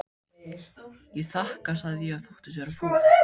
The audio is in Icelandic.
Ég þakka sagði ég og þóttist vera fúl.